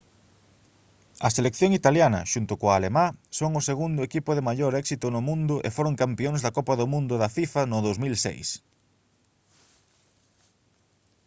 a selección italiana xunto coa alemá son o segundo equipo de maior éxito no mundo e foron campións da copa do mundo da fifa no 2006